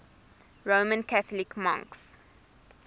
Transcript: roman catholic monks